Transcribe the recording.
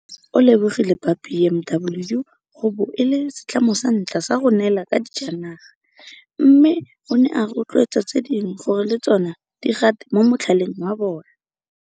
O lebogile ba BMW go bo e le setlamo sa ntlha go neelana ka dijanaga, mme o ne a rotloetsa tse dingwe gore le tsona di gate mo motlhaleng wa bona.